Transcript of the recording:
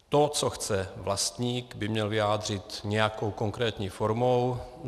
To, co chce vlastník, by měl vyjádřit nějakou konkrétní formou.